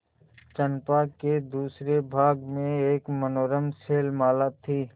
चंपा के दूसरे भाग में एक मनोरम शैलमाला थी